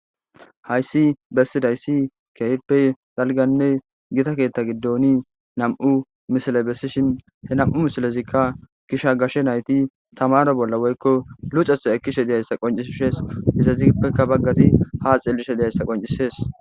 hayssi bessidayssi keehippe zalganne gita keetta giddoni nam7u misile bessishin he nam7u misilezikka gisha gashe nayti tamaro bolla woykko lucetha ekkishe diyayssa qoncisshees izazippeka baggati ha xillishe deyayssa qoncisees